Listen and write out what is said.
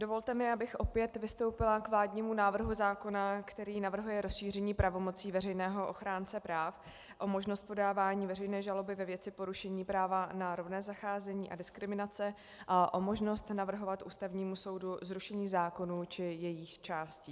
Dovolte mi, abych opět vystoupila k vládnímu návrhu zákona, který navrhuje rozšíření pravomocí veřejného ochránce práv o možnost podávání veřejné žaloby ve věci porušení práva na rovné zacházení a diskriminace a o možnost navrhovat Ústavnímu soudu zrušení zákonů či jejich částí.